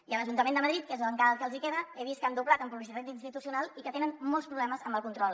i a l’ajuntament de madrid que és encara el que els hi queda he vist que han doblat amb publicitat institucional i que tenen molts problemes amb el control